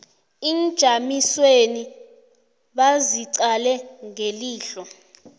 iinjamiswezi baziqale ngelihlo